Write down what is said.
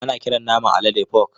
Ana kiran naman alade fok.